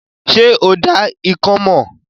Ṣé o dá ikán mọ̀?